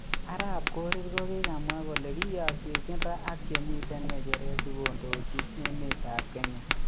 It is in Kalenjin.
Arap Korir kokikamwa kole kiyasiechin ra ak chemiten geseret si kondochi emet ap Kenya